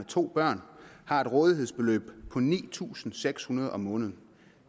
to børn har et rådighedsbeløb på ni tusind seks hundrede kroner om måneden